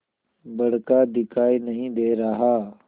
बड़का दिखाई नहीं दे रहा